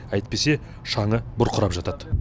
әйтпесе шаңы бұрқырап жатады